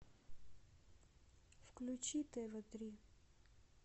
включи тв три